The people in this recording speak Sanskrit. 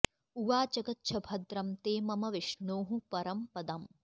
उवाच गच्छ भद्रं ते मम विष्णोः परं पदम्